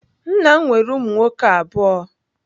Nna m nwere ụmụ nwoke abụọ.